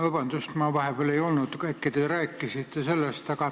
Vabandust, ma vahepeal ei olnud saalis, äkki te juba rääkisite sellest.